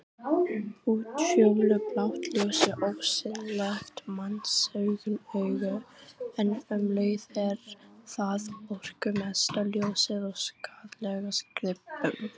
Útfjólublátt ljós er ósýnilegt mannsauganu en um leið er það orkumesta ljósið og skaðlegast gripum.